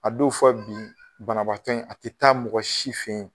A don fɔ bi banaatɔ in a te taa mɔgɔ si fen ye